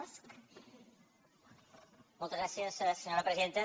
moltes gràcies senyora presidenta